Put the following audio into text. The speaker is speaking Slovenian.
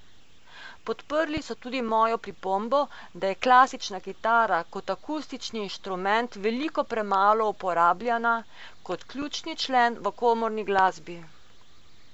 Podprli so tudi mojo pripombo, da je klasična kitara kot akustični inštrument veliko premalo uporabljana kot ključni člen v komorni glasbi.